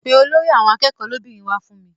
Pe olórí àwọn akẹ́kọ̀ọ́ lóbìnrin wá fún mi.